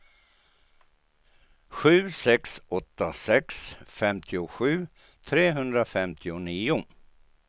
sju sex åtta sex femtiosju trehundrafemtionio